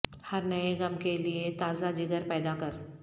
ہر نئے غم کے لیے تازہ جگر پیدا کر